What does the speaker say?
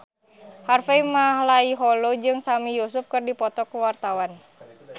Harvey Malaiholo jeung Sami Yusuf keur dipoto ku wartawan